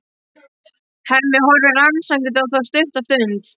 Hemmi horfir rannsakandi á þá stutta stund.